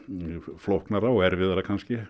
flóknara og erfiðara